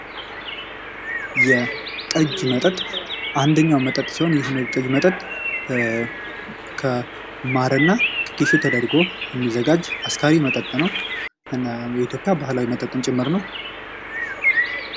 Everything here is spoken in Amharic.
የጠጅ መጠጥ አንደኛው መጠጥ ሲሆን ይህ መጠጥ ከማርና ጌሾተደርጎ የሚዘጋጅ አስካሪ መጠጥ ነው። እና በኢትዮጵያ ባህላዊ መጠጥም ጭምር ነው።